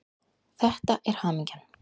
Þetta er hamingjan.